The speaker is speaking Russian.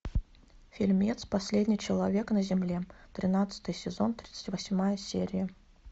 фильмец последний человек на земле тринадцатый сезон тридцать восьмая серия